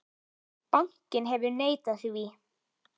Bankinn hefur neitað því.